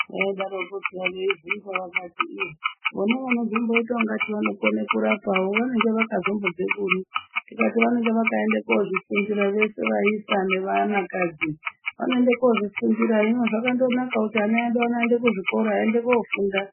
Adarokwo peya vebvunza vakati iii vona vona vanozomboita ingati vanokone kurapavo vanenge vakazombobve kuri tikati vanenge vakaenda kozvifunfita veshe vaisa nevanakadzi vanoenda kozvifundira hino zvakandonaka kuti ana edu aende kuzvikora aende kofunda.